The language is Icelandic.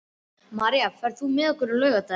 Marín, ferð þú með okkur á laugardaginn?